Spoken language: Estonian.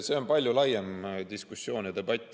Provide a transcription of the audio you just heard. See on palju laiem diskussioon ja debatt.